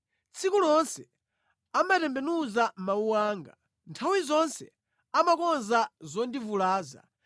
Tsiku lonse amatembenuza mawu anga; nthawi zonse amakonza zondivulaza.